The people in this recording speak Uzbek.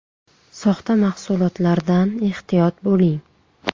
Soxta mahsulotlardan ehtiyot bo‘ling !!!